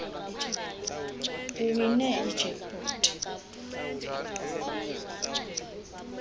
uwine ijack pot